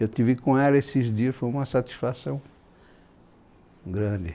Eu estive com ela esses dias, foi uma satisfação grande.